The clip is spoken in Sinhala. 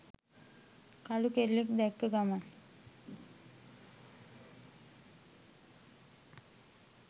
කළු කොල්ලෙක් දැක්ක ගමන්